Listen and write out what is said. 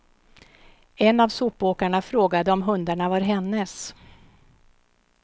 En av sopåkarna frågade om hundarna var hennes.